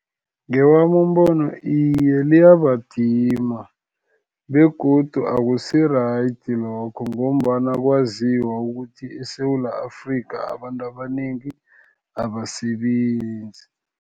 Ngewami umbono iye liyabadima, begodu akusi-right lokho, ngombana kwaziwa ukuthi eSewula Afrika abantu abanengi abasebenzi.